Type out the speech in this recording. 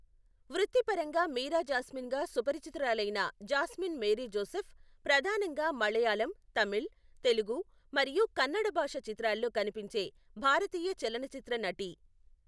వృత్తిపరంగా మీరా జాస్మిన్గా సుపరిచితురాలైన జాస్మిన్ మేరీ జోసెఫ్, ప్రధానంగా మలయాళం, తమిళ్, తెలుగు, మరియు కన్నడ భాషా చిత్రాల్లో కనిపించే భారతీయ చలనచిత్ర నటి.